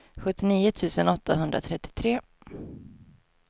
sjuttionio tusen åttahundratrettiotre